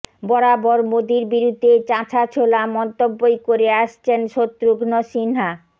বরাবর মোদীর বিরুদ্ধে চাঁছাছোলা মন্তব্যই করে আসছেন শত্রুঘ্ন সিনহা